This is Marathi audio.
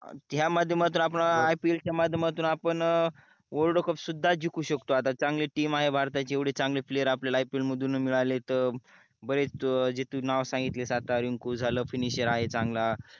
या माध्यमातून आपण IPL च्या माध्यमातून आपण world cup सुद्धा जिकू शकतो आता चांगली team आहे भारताची येवडी चांगले player आपल्याला IPL मधून मिडालेत बरेच जे तू नाव सांगितले रिंकू झाला finisher आहे चांगला